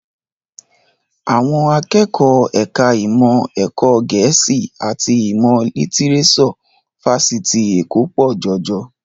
Àwọn akẹ́kọ̀ọ́ ẹ̀ka ìmọ̀ ẹ̀kọ́ Gẹ̀ẹ́sì àti ìmọ̀ lítíréṣọ̀ Fáṣitì Èkó pọ̀ jọjọ